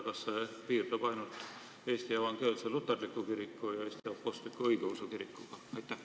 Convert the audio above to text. Kas see piirdub ainult nende kahega, milleks on Eesti Evangeelne Luterlik Kirik ja Eesti Apostlik-Õigeusu Kirik?